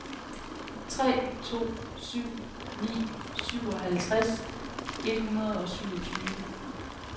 tre to syv ni syvoghalvtreds et hundrede og syvogtyve